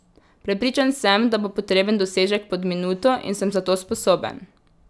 Prepričan sem, da bo potreben dosežek pod minuto in sem za to sposoben.